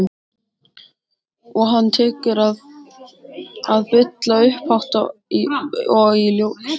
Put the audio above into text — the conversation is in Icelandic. Og hann tekur að bulla upphátt og í hljóði.